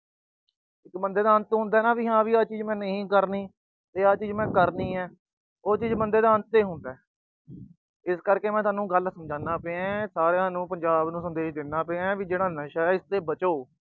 ਬੰਦੇ ਦਾ ਅੰਤ ਹੁੰਦਾ ਨਾ ਆਹ ਚੀਜ ਮੈਂ ਨਹੀਂ ਕਰਨੀ ਤੇ ਆਹ ਚੀਜ ਕਰਨੀ ਆ ਉਹ ਚੀਜ ਬੰਦੇ ਦਾ ਅੰਤ ਹੀ ਹੁੰਦਾ। ਇਸ ਕਰਕੇ ਮੈਂ ਤੁਹਾਨੂੰ ਗੱਲ ਸਮਝਾਦਾ ਪਿਆ ਸਾਰਿਆਂ ਨੂੰ, ਪੰਜਾਬ ਨੂੰ ਸੰਦੇਸ਼ ਦਿੰਦਾ ਪਿਆ, ਆਹ ਜਿਹੜਾ ਨਸ਼ਾ ਆ, ਇਸ ਤੋਂ ਬਚੋ।